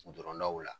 Dɔrɔndaw la